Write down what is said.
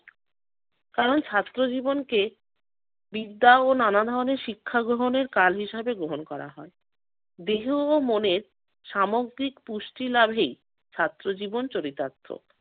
কারণ ছাত্র জীবনকে বিদ্যা ও নানা ধরনের শিক্ষাগ্রহণের কাল হিসেবে গ্রহণ করা হয়। দেহ ও মনের সামগ্রিক পুষ্টি লাভে ছাত্র জীবনে চরিতার্থ।